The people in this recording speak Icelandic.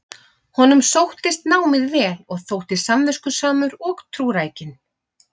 Honum sóttist námið vel og þótti samviskusamur og trúrækinn.